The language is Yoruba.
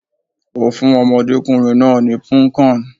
Ó fún ọmọdékùnrin náà ní Punnkan.